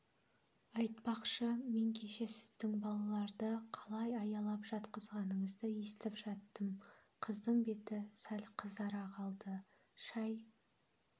айтпақшы мен кеше сіздің балаларды қалай аялап жатқызғаныңызды естіп жаттым қыздың беті сәл қызара қалды шай